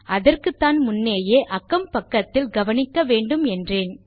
அதற்குத்தான் முன்னேயே அக்கம் பக்கத்தில் கவனிக்க வேண்டும் என்றேன்